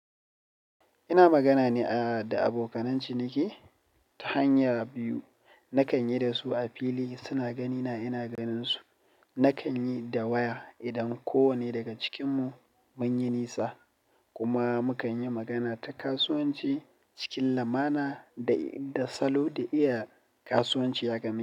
Ina magana ne da abokanan ciniki ta hanya biyu. Nakan yi da su a fili suna ganina ina ganin su. Nakan yi da waya idan ko wane daga cikinmu mun yi nisa kuma mu kan yi magana ta kasuwanci cikin lamana da, da salo da iya kasuwanci ya gane.